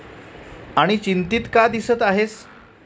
आणी चिंतित का दिसत आहेस?